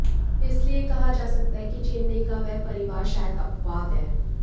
इसलिए यह कहा जा सकता है कि चेन्नई का वह परिवार शायद अपवाद है